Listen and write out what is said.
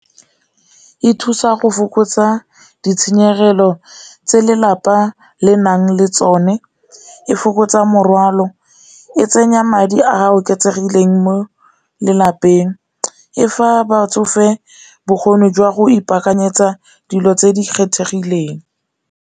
E thusa go fokotsa ditshenyegelo tse lelapa le nang le tsone, e fokotsa morwalo e tsenya madi a a oketsegileng mo lelapeng, e fa batsofe bokgoni jwa go ipakanyetsa dilo tse di kgethegileng.